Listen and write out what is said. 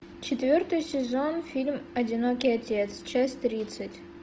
четвертый сезон фильм одинокий отец часть тридцать